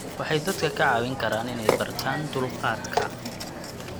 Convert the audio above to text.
Waxay dadka ka caawin karaan inay bartaan dulqaadka.